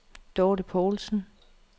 Dorthe Poulsen